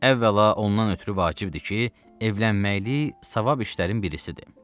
Əvvəla ondan ötrü vacibdir ki, evlənməkliyi savab işlərin birisidir.